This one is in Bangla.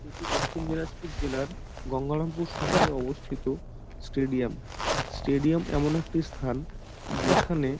এটি দক্ষিণ দিনাজপুর জেলার গঙ্গারামপুর শহরে অবস্থিত স্টেডিয়াম স্টেডিয়াম এমন একটি স্থান যেখানে--